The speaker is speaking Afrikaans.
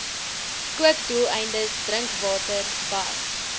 kookdoeleindes drinkwater bad